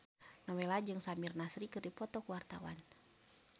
Nowela jeung Samir Nasri keur dipoto ku wartawan